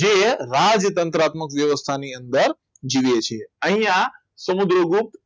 જે રાજ્યતંત્ર વ્યવસ્થાની અંદર જીવે છે અહીંયા સમુદ્રગુપ્ત